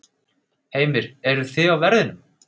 Heimir: Eruð þið á verðinum?